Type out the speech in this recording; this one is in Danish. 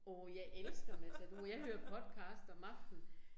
Åh jeg elsker Matador, jeg hører podcast om aftenen